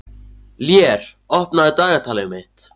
Lér, opnaðu dagatalið mitt.